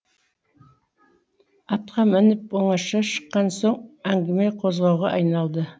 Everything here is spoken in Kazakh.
атқа мініп оңаша шыққан соң әңгіме қозғауға айналды